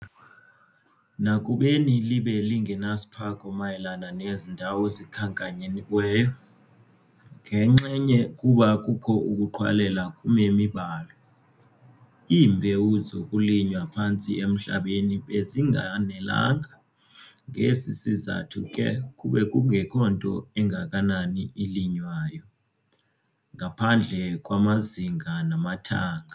Nakubeni libe lingenasiphako mayelana nezi ndawo zikhankanyiweyo, ngenxenye kuba kukho ukuqhwalela kumemi balo. Iimbewu zokulinywa phantsi emhlabeni bezinganelanga. Ngesi sizathu ke kube kungekho nto ingakanani ilinywayo, ngaphandle kwamazinga namathanga.